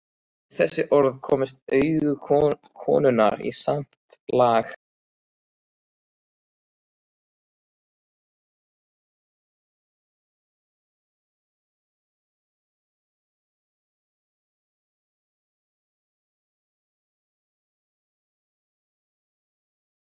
Það eru víst komin ein tíu ár síðan.